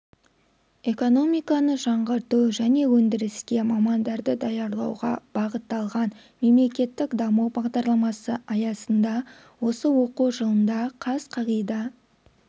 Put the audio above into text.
экономиканы жаңғырту және өндіріске мамандарды даярлауға бағытталған мемлекеттік даму бағдарламасы аясында осы оқу жылында қаз қағида